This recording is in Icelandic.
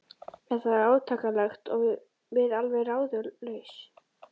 Þetta var átakanlegt og við alveg ráðalaus.